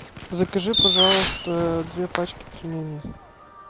закажи пожалуйста две пачки пельменей